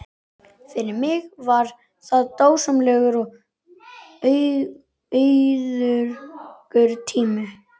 Fyrir mig var það dásamlegur og auðugur tími.